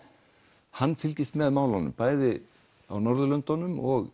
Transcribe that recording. hann fylgist með málunum á Norðurlöndunum og